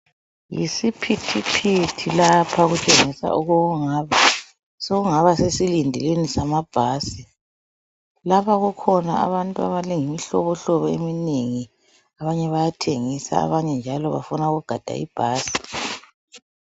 Yisiphithiphithi lapha okutshengisa okungabe sokungaba sesilindelweni samabhasi lapha kukhona abantu abalemihlobohlobo eminengi abanye bayathengisa abanye njalo bafuna ukugada ibhasi